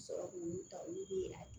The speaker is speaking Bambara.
Sɔrɔ k'olu ta olu bɛ yɛlɛ